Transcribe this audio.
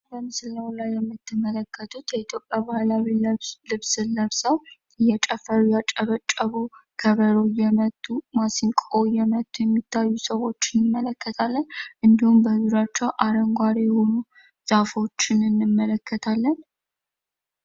በምስሉ ላይ የምትመለከቱት የኢትዮጵያ ባህላዊ ልብስ ለብሰው እየጨፈሩ፣ እያጨበጨቡ ፣ከበሮ እየመቱ፣ ማስንቆ እየመቱ የሚታዩ ስዎች እንመለከታለን ።እንዲሁም በእግራቸው አረንጓዴ የሆኑ ዛፎችን እንመለከታለን።